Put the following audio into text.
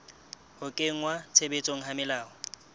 ho kenngwa tshebetsong ha melao